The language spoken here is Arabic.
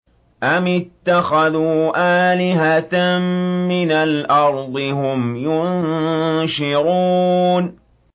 أَمِ اتَّخَذُوا آلِهَةً مِّنَ الْأَرْضِ هُمْ يُنشِرُونَ